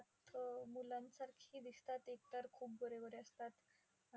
मुलांसारखे दिसतात, एकतर खूप गोरे गोरे असतात.